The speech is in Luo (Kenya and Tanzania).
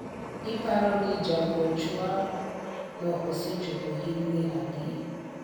iparo ni jagochwa no osechopo higni adi ?